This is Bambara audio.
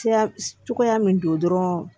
Tiya cogoya min don dɔrɔn